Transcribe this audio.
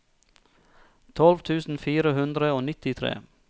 tolv tusen fire hundre og nittitre